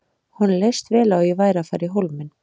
Honum leist vel á að ég væri að fara í Hólminn.